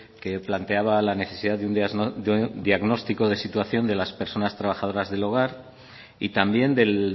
que planteaba la necesidad de un diagnóstico de situación de las personas trabajadoras del hogar y también del